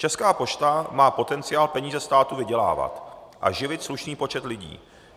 Česká pošta má potenciál peníze státu vydělávat a živit slušný počet lidí.